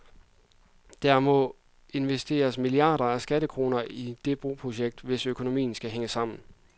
Derfor må der investeres milliarder af skattekroner i det broprojektet, hvis økonomien skal hænge sammen.